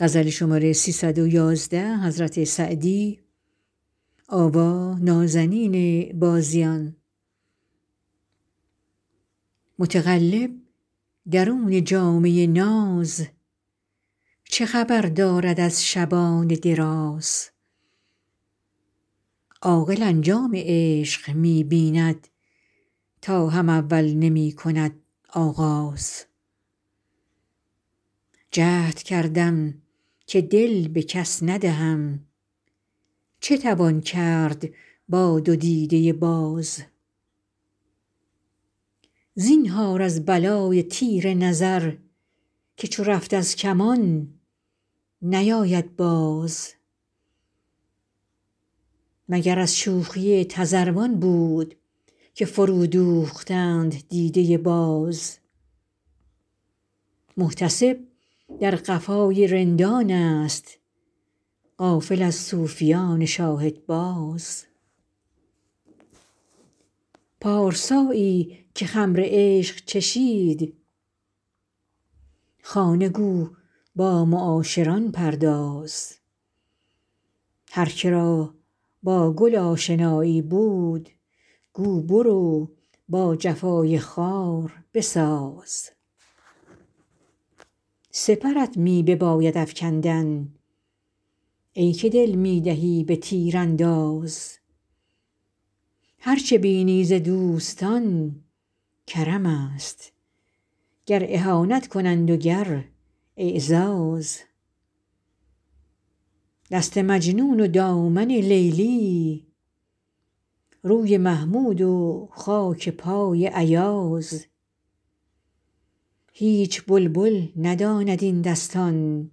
متقلب درون جامه ناز چه خبر دارد از شبان دراز عاقل انجام عشق می بیند تا هم اول نمی کند آغاز جهد کردم که دل به کس ندهم چه توان کرد با دو دیده باز زینهار از بلای تیر نظر که چو رفت از کمان نیاید باز مگر از شوخی تذروان بود که فرودوختند دیده باز محتسب در قفای رندانست غافل از صوفیان شاهدباز پارسایی که خمر عشق چشید خانه گو با معاشران پرداز هر که را با گل آشنایی بود گو برو با جفای خار بساز سپرت می بباید افکندن ای که دل می دهی به تیرانداز هر چه بینی ز دوستان کرمست گر اهانت کنند و گر اعزاز دست مجنون و دامن لیلی روی محمود و خاک پای ایاز هیچ بلبل نداند این دستان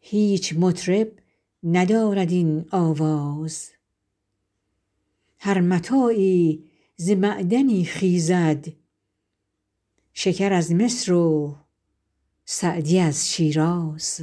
هیچ مطرب ندارد این آواز هر متاعی ز معدنی خیزد شکر از مصر و سعدی از شیراز